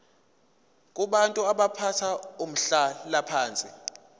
kubantu abathathe umhlalaphansi